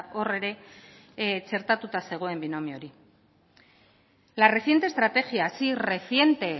hor ere txertatuta zegoen binomio hori la reciente estrategia sí reciente